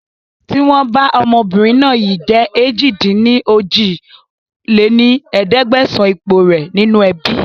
Tìwọ̀n bá ọmọbìnrin náà yìí jẹ̀ èjì-dín-ní-ojì lé ní ẹ̀ẹ́dẹ́gbẹ́sán ipò rẹ nínú ẹbí